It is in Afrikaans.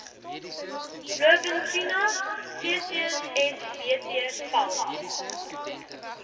blouvintuna ccsbt val